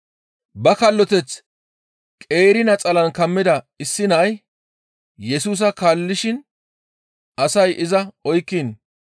Ba kalloteth qeeri naxalan kammida issi nay Yesusa kaallishin asay iza oykkiin,